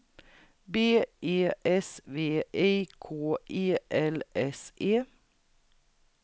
B E S V I K E L S E